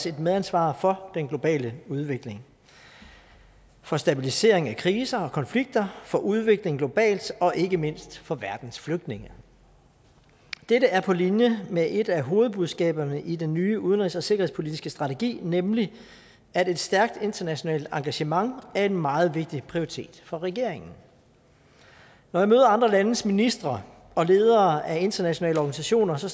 et medansvar for den globale udvikling for stabilisering af kriser og konflikter for udvikling globalt og ikke mindst for verdens flygtninge dette er på linje med et af hovedbudskaberne i den nye udenrigs og sikkerhedspolitiske strategi nemlig at et stærkt internationalt engagement er en meget vigtig prioritet for regeringen når jeg møder andre landes ministre og ledere af internationale organisationer